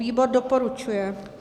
Výbor doporučuje.